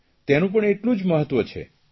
તેનું પણ એટલું જ મહત્વ છે